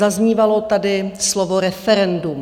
Zaznívalo tady slovo referendum.